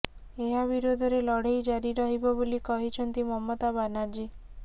ଏହା ବିରୋଧରେ ଲଢେଇ ଜାରି ରହିବ ବୋଲି କହିଛନ୍ତି ମମତା ବାନାର୍ଜୀ